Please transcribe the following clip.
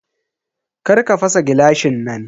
Karka fasa gilashin nan.